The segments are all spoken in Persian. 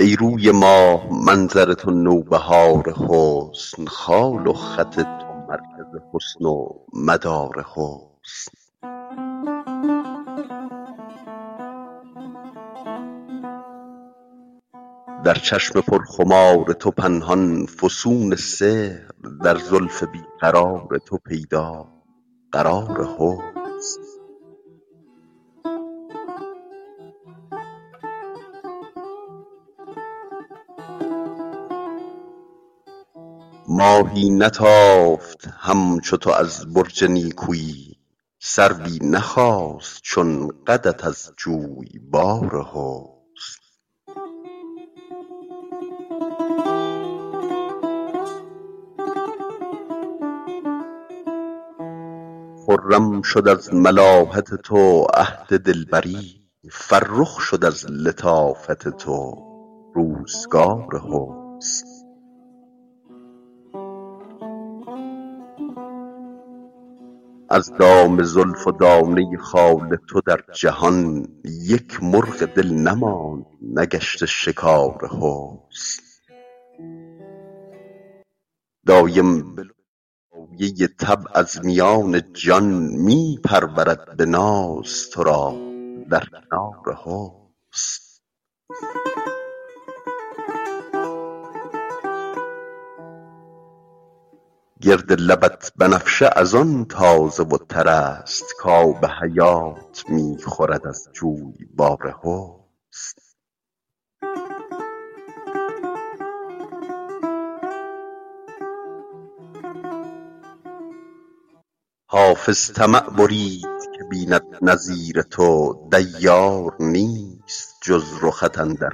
ای روی ماه منظر تو نوبهار حسن خال و خط تو مرکز حسن و مدار حسن در چشم پرخمار تو پنهان فسون سحر در زلف بی قرار تو پیدا قرار حسن ماهی نتافت همچو تو از برج نیکویی سروی نخاست چون قدت از جویبار حسن خرم شد از ملاحت تو عهد دلبری فرخ شد از لطافت تو روزگار حسن از دام زلف و دانه خال تو در جهان یک مرغ دل نماند نگشته شکار حسن دایم به لطف دایه طبع از میان جان می پرورد به ناز تو را در کنار حسن گرد لبت بنفشه از آن تازه و تر است کآب حیات می خورد از جویبار حسن حافظ طمع برید که بیند نظیر تو دیار نیست جز رخت اندر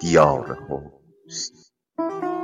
دیار حسن